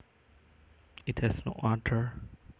It has no odor